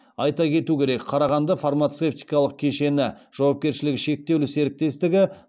айта кету керек қарағанды фармацевтикалық кешені жауапкершілігі шектеулі серіктестігі